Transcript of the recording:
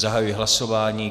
Zahajuji hlasování.